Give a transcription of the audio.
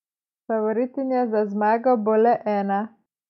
Favoritinja za zmago bo le ena.